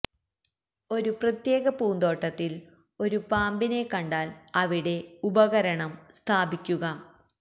ഒരു പ്രത്യേക പൂന്തോട്ടത്തിൽ ഒരു പാമ്പിനെ കണ്ടാൽ അവിടെ ഉപകരണം സ്ഥാപിക്കുക